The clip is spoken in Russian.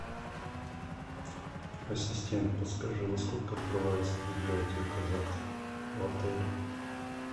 ассистент подскажи во сколько открывается библиотека завтра в отеле